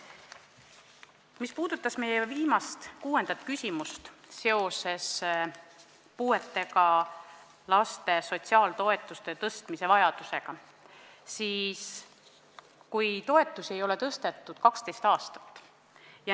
Mis puudutas meie viimast, kuuendat küsimust, mis käis puudega laste sotsiaaltoetuste tõstmise vajaduse kohta, siis neid toetusi ei ole tõstetud 12 aastat.